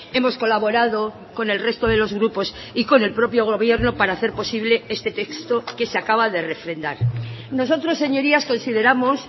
hemos colaborado con el resto de los grupos y con el propio gobierno para hacer posible este texto que se acaba de refrendar nosotros señorías consideramos